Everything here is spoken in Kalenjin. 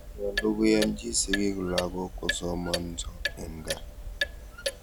Nyalu koyanchi sigik lagok kosomanso eng' kaa.